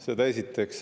Seda esiteks.